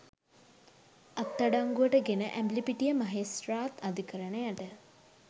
අත්අඩංගුවට ගෙන ඇඹිලිපිටිය මහේස්ත්‍රාත් අධිකරණයට